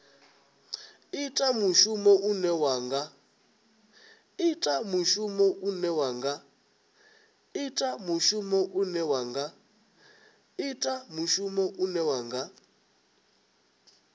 ita mushumo une wa nga